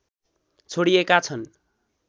छोडिएका छन्